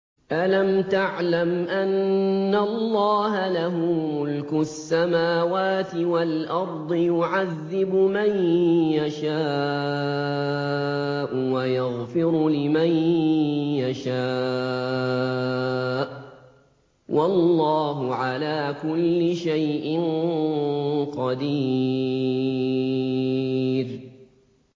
أَلَمْ تَعْلَمْ أَنَّ اللَّهَ لَهُ مُلْكُ السَّمَاوَاتِ وَالْأَرْضِ يُعَذِّبُ مَن يَشَاءُ وَيَغْفِرُ لِمَن يَشَاءُ ۗ وَاللَّهُ عَلَىٰ كُلِّ شَيْءٍ قَدِيرٌ